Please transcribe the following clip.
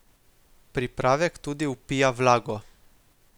Pripravek tudi vpija vlago.